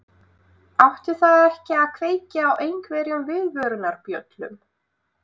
Átti það ekki að kveikja á einhverjum viðvörunarbjöllum?